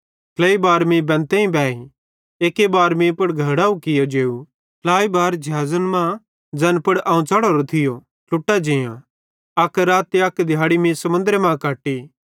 ट्लेइ बार मीं बेंतेइं खेइ एक्की बार मीं पुड़ घोड़ैव कियो जेव ट्लेइ बार ज़िहाज़े मां ज़ैन पुड़ अवं चढ़ोरो थियो ट्लुटी जेअं अक रात ते दिहाड़ी मीं समुन्द्रे मां कट्टी